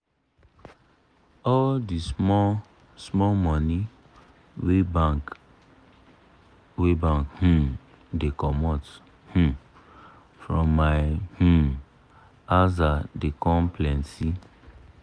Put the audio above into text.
all d small small money wey bank wey bank um da comot um from my um aza da come plenty